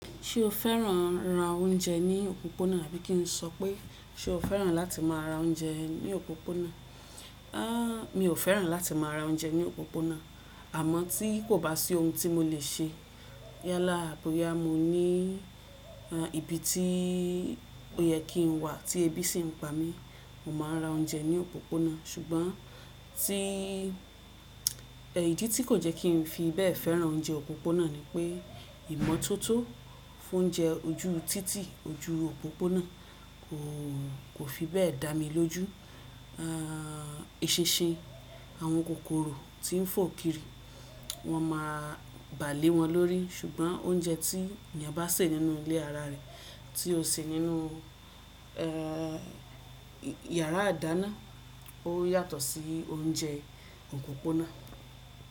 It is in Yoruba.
Ṣé o fẹ́ràn ra oúnjẹ ní òpópónà? Àbí kí n sọ pé ṣe o fẹ́ràn láti máa ra oúnjẹ ní òpópónà? Mi ò fẹ́ràn láti máa ra oúnjẹ ní òpópónà, àmọ́ tí kò bá sí ohun tí mo lè ṣe yálà á boya mo ní ibi tí ó yẹ kí n wà tí ẹbí sì ń pa mí, mo máa ra oúnjẹ ní òpópónà. Ṣùgbọ́n tí, idí tí kò jẹ́kí n fi bẹ́ẹ̀ fẹ́ràn oúnjẹ òpópónà ni pé ìmọ́tótó fún oúnjẹ ojú títì ojú òpópónà kò fi bẹ́ẹ̀ dá mi lójú. Esinsìn àwọn kòkòrò tí ń fọ kiri, wọ́n máa bà lé wọn lórí. Ṣùgbọ́n oúnjẹ tí èeyàn bá sè nínú ilé ara rẹ̀ tí ó ṣe nínú, ẹ́, yàrá idáná ó yàtọ̀ sí oúnjẹ òpópónà.